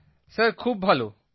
প্রদীপজি sir খুব ভালো